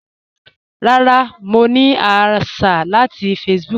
Rárá, mọ̀ ní àṣà láti Facebook.